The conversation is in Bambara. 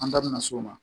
An taa na s'o ma